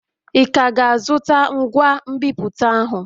Ị ka ga-azụta ngwa nbipute ahụ?